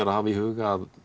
að hafa í huga að